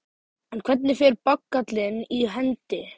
En hvernig fer bagallinn í hendi?